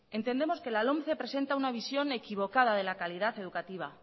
entendemos que la lomce presenta una visión equivocada de la calidad educativa